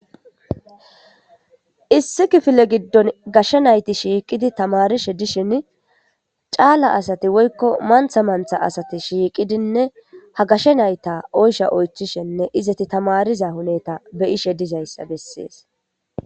issi kifile giddon gashshe nayti shiiqidi tamarishe dishin caala asati woykko mantha mantha asati shiiqidinne ha gashe nayta oysha oychishenne izeti tamariza huneta be'ishe dizayssa bessees